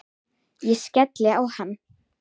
Ég skellti á hann.